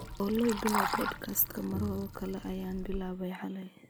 olly bilow podcast-ka mar kale ayaan bilaabay xalay